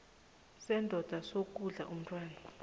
sendoda sokondla umntwana